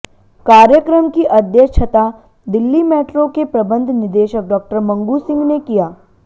कार्यक्रम की अध्य क्षता दिल्ली मेट्रो के प्रबंध निदेशक डॉ मंगू सिंह ने किया